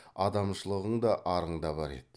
адамшылығың да арың да бар еді